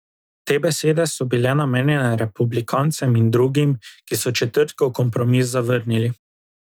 Te besede so bile namenjene republikancem in drugim, ki so četrtkov kompromis zavrnili.